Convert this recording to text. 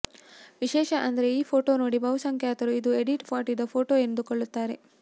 ವಿಶೇಷ ಅಂದ್ರೆ ಈ ಫೋಟೋ ನೋಡಿ ಬಹುಸಂಖ್ಯಾತರು ಇದು ಎಡಿಟ್ ಮಾಡಿದ ಫೋಟೋ ಎಂದುಕೊಳ್ಳುತ್ತಾರೆ